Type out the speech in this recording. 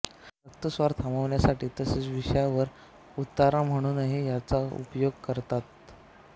रक्तस्राव थांबविण्यासाठी तसेच विषावर उतारा म्हणूनही याचा उपयोग करतात